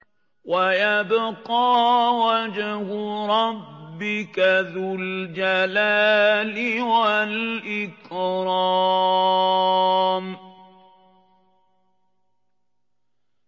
وَيَبْقَىٰ وَجْهُ رَبِّكَ ذُو الْجَلَالِ وَالْإِكْرَامِ